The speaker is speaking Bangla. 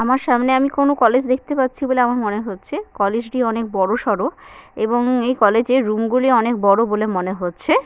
আমার সামনে আমি কোন কলেজ দেখতে পাচ্ছি বলে আমার মনে হচ্ছে কলেজ টি অনেক বড়সড়ো এবং এই কলেজ - এর রুম গুলি অনেক বড় বলে মনে হচ্ছে- এ--